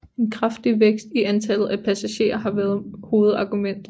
En kraftig vækst i antallet af passagerer har været hovedargumentet